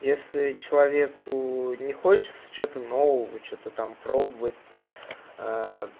если человеку не хочется чего то нового и что то там пробовать то